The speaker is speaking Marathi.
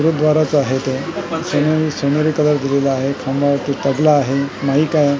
गुरुद्वाराचा आहे तो सोनेरी सोनेरी कलर दिलेला आहे खांबावरती तबला आहे माइक आहे.